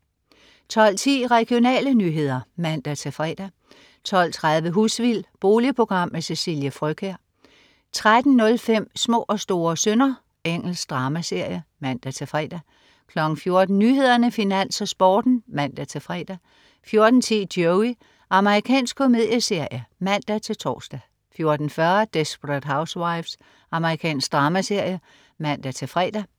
12.10 Regionale nyheder (man-fre) 12.30 Husvild. Boligprogram med Cecilie Frøkjær 13.05 Små og store synder. Engelsk dramaserie (man-fre) 14.00 Nyhederne, Finans, Sporten (man-fre) 14.10 Joey. Amerikansk komedieserie (man-tors) 14.40 Desperate Housewives. Amerikansk dramaserie (man-fre)